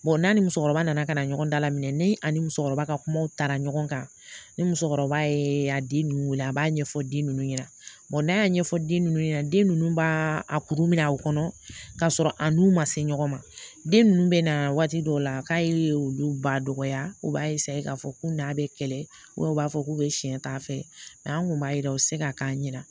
n'a ni musokɔrɔba nana ka na ɲɔgɔn dala minɛ ne a ni musokɔrɔba ka kumaw taara ɲɔgɔn kan ni musokɔrɔba ye a den ninnu wele a b'a ɲɛfɔ den ninnu ɲɛna n'a y'a ɲɛfɔ den nunnu ɲɛna den nunnu b'a a kuru minɛ o kɔnɔ ka sɔrɔ a n'u ma se ɲɔgɔn ma den nunnu bɛ na waati dɔw la k'a ye olu ba dɔgɔya u b'a k'a fɔ k'u n'a bɛ kɛlɛ u b'a fɔ k'u be siɲɛ ta fɛ an kun b'a yira u be se k'a k'an ɲɛna